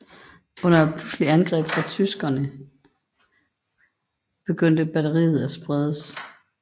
Under et pludseligt angreb fra tyskerne i Vogeserne begyndte batteriet at spredes